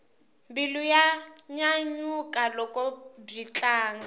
mbilu ya nyanyuka loko byi tlanga